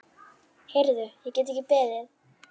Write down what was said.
Heyrðu, ég get ekki beðið.